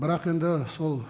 бірақ енді сол